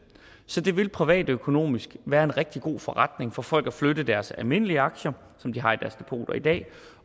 så det vil privatøkonomisk være en rigtig god forretning for folk at flytte deres almindelige aktier som de har i deres depoter i dag